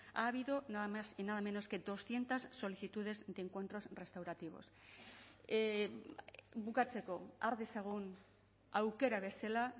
ha habido nada más y nada menos que doscientos solicitudes de encuentros restaurativos bukatzeko har dezagun aukera bezala